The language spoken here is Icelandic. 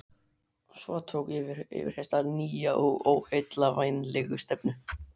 Svo tók yfirheyrslan nýja og óheillavænlega stefnu.